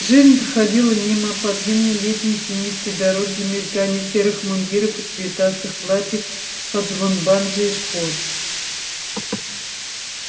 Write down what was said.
жизнь проходила мимо по длинной летней тенистой дороге в мелькании серых мундиров и цветастых платьев под звон банджо и шпор